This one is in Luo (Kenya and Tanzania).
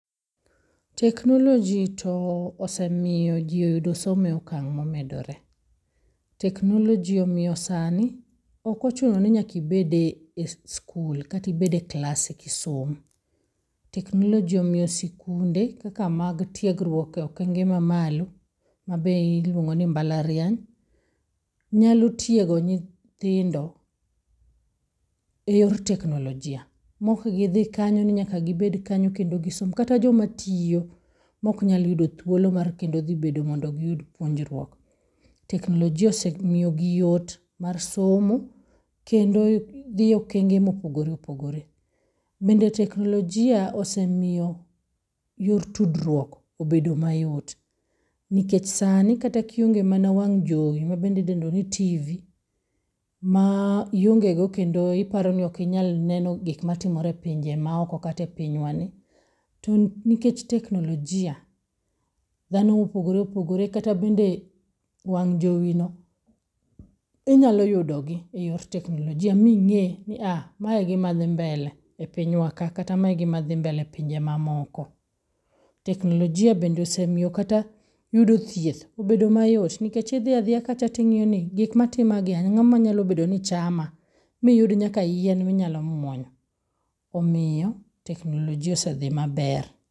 Teknoloji to osemio jii oyudo somo e okang' momedore. Teknoloji omio sani okochuno ni nyaka ibede es skul, kata ibede klas eki som. Teknoloji omio sikunde kaka mag tiegrwuok e okenge mamalo mabe iluongo ni mbalariany nyalo tiego nyithindo e yor teknolojia, mokgidhi kanyo ni nyaka gibed kanyo kendo gisom, kata joma tio moknyal yudo thuolo mar kendo dhi bedo mondo giyud puonjrwuok. Teknolojia osemiogi yot mar somo kendo dhie okenge mopogore opogore. Bende teknolojia osemio yor tudrwuok obedo mayot. Nikech sani kionge kata mana wang' jowi mabende idendo ni tv, ma ah iongego kendo iparo neno gik ma timore e pinje maoko kata e pinywani, to nikech teknlojia dhano mopogopre opogore kata bende wang' jowino inyalo yudogi e yor teknolojia ming'e ni ah! mae gi mae dhi mbele e pinywka kata mae gimae dhi mbele e pinje mamoko. Teknolojia bende osemio kata yudo thieth obedo mayot nikech idhia dhia kacha ting'ioni gik matima gi, ang'o manyalo bedo ni chama? Miyud nyaka yien minyalo muonyo. Omio teknolojia osedhi maber.